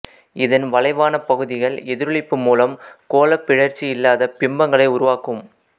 இதன் வளைவான பகுதிகள் எதிரொளிப்பு மூலம் கோளப் பிறழ்ச்சி இல்லாத பிம்பங்களை உருவாக்கும்